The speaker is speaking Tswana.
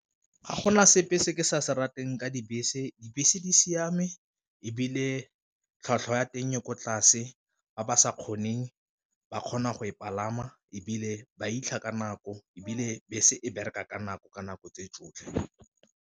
Ga gona sepe se ke sa se rateng ka dibese dibese di siame ebile tlhwatlhwa ya teng e ko tlase, ba ba sa kgoneng ba kgona go e palama ebile ba fitlha ka nako ebile bese e bereka ka nako ka nako tse tsotlhe.